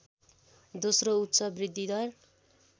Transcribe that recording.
दोस्रो उच्च वृद्धिदर